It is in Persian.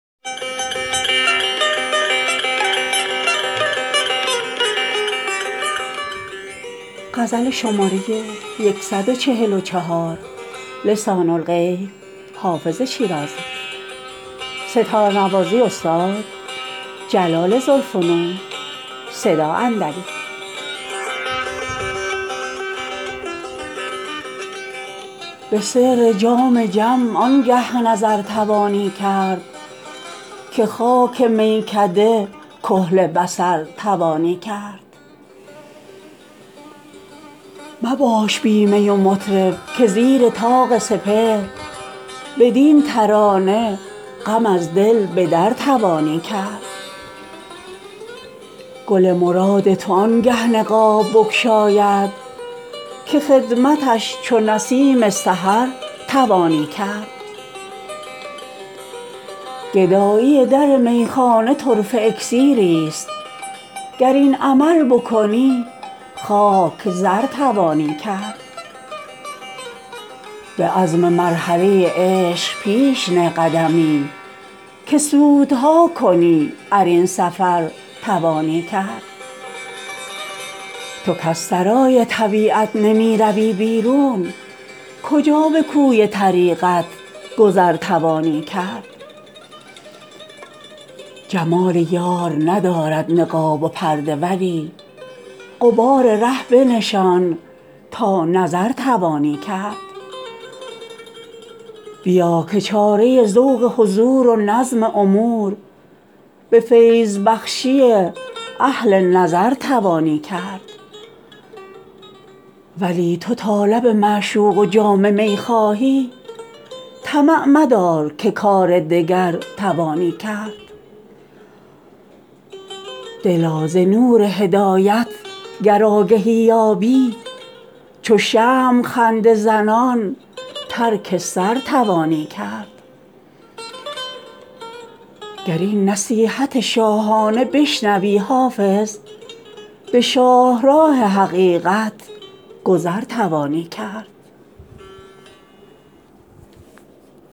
به سر جام جم آنگه نظر توانی کرد که خاک میکده کحل بصر توانی کرد مباش بی می و مطرب که زیر طاق سپهر بدین ترانه غم از دل به در توانی کرد گل مراد تو آنگه نقاب بگشاید که خدمتش چو نسیم سحر توانی کرد گدایی در میخانه طرفه اکسیریست گر این عمل بکنی خاک زر توانی کرد به عزم مرحله عشق پیش نه قدمی که سودها کنی ار این سفر توانی کرد تو کز سرای طبیعت نمی روی بیرون کجا به کوی طریقت گذر توانی کرد جمال یار ندارد نقاب و پرده ولی غبار ره بنشان تا نظر توانی کرد بیا که چاره ذوق حضور و نظم امور به فیض بخشی اهل نظر توانی کرد ولی تو تا لب معشوق و جام می خواهی طمع مدار که کار دگر توانی کرد دلا ز نور هدایت گر آگهی یابی چو شمع خنده زنان ترک سر توانی کرد گر این نصیحت شاهانه بشنوی حافظ به شاهراه حقیقت گذر توانی کرد